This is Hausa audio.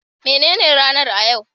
Me nene ranar a yau?